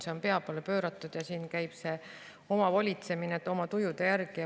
Kõik on pea peale pööratud ja siin käib omavolitsemine, oma tujude järgi.